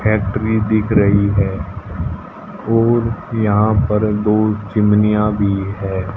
Factory दिख रही है और यहां पर दो चिमनिया भी है।